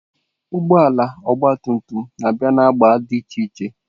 Ụgbọ ala ọgba tum tum na-abịa na agba dị iche iche.